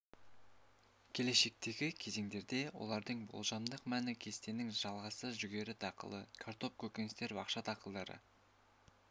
келешектегі кезеңдерде олардың болжамдық мәні кестенің жалғасы жүгері дақылы картоп көкөністер бақша дақылдары